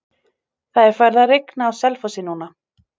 Það er farið að rigna á Selfossi núna.